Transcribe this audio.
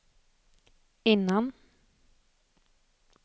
innan